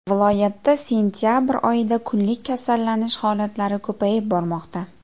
Viloyatda sentabr oyida kunlik kasallanish holatlari ko‘payib bormoqda.